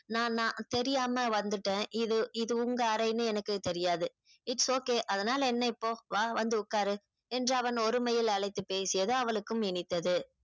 நான் நா தெரியாம வந்துட்டேன் இது இது உங்க அறையின்னு எனக்கு இது தெரியாது its okay அதனால என்ன இப்போ வா வந்து உட்காரு என்று அவன் ஒருமையில் அழைத்து பேசியது அவளுக்கும் இனித்தது